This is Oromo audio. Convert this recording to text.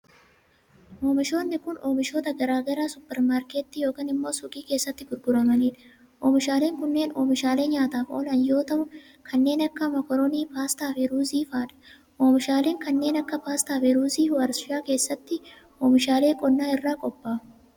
Oomishoonni kun oomishoota garaa garaa supparmaarkettii yokin immoo suuqii keessatti gurguramanii dha. Oomishaaleen kunneen oomishaalee nyaataaf oolan yoo ta'u, kanneen akka:mokoronii, paastaa fi ruuzii faa dha. Oomishaaleen kanneen akka paastaa fi ruuzii warshaa keessattti oomishaalee qonnaa irraa qophaa'u.